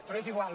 però és igual